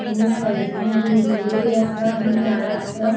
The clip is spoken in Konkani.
आणि साइडीन बिल्डिंग्यो बी असा आणि झाड असा.